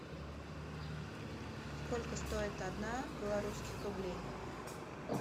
сколько стоит одна белорусских рублей